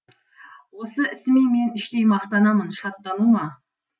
осы ісіме мен іштей мақтанамын шаттану ма